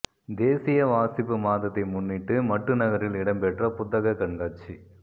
தேசிய வாசிப்பு மாதத்தை முன்னிட்டு மட்டு நகரில் இடம்பெற்ற புத்தக கண்காட்சி